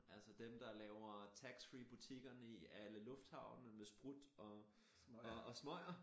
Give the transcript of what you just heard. Altså dem der laver tax free-butikkerne i alle lufthavne med sprut og og smøger